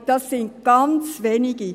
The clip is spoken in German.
Aber das sind ganz wenige.